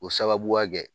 O sababuya kɛ